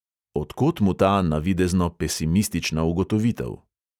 Od kod mu ta navidezno pesimistična ugotovitev?